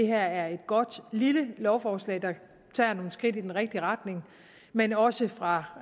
her er et godt lille lovforslag der tager nogle skridt i den rigtige retning men også fra